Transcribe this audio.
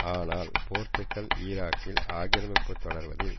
ஆனால் போர்த்துகல் ஈராக்கில் ஆக்கிரமிப்பு தொடர்வதில்